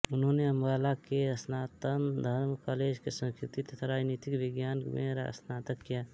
उन्होंने अम्बाला के सनातन धर्म कॉलेज से संस्कृत तथा राजनीति विज्ञान में स्नातक किया